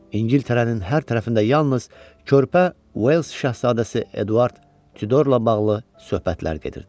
İngiltərənin hər tərəfində yalnız körpə Uels şahzadəsi Eduard Tyudorla bağlı söhbətlər gedirdi.